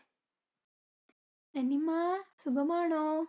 നിനിമാ സുഖമാണോ?